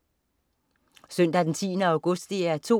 Søndag den 10. august - DR 2: